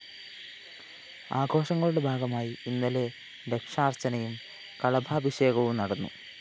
ആഘോഷങ്ങളുടെ ഭാഗമായി ഇന്നലെ ലക്ഷാര്‍ച്ചനയും കളഭാഭിഷേകവും നടന്നു